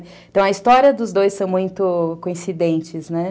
Então, a história dos dois são muito coincidentes, né?